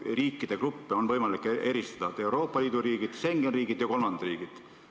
Riikide gruppe on võimalik eristada: Euroopa Liidu riigid, Schengeni riigid ja kolmandad riigid.